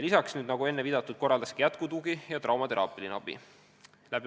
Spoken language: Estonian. Lisaks, nagu juba viidatud, korraldatakse jätkutugi ja traumateraapiline abi.